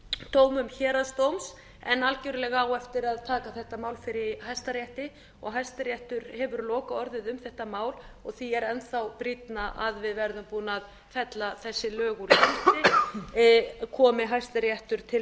dómum héraðsdóms en algerlega á eftir að taka þetta mál fyrir í hæstarétti og hæstiréttur hefur lokaorðið um þetta mál og því er einn þá brýnna að við verðum búnir að fella þessi lög úr gildi komi hæstiréttur til